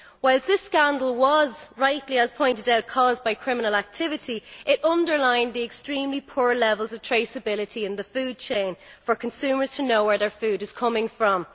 Whilst this scandal was as rightly pointed out caused by criminal activity, it underlined the extremely poor levels of traceability in the food chain, for consumers to know where their food is coming from.